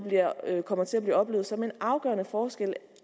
kommer til at blive oplevet som en afgørende forskel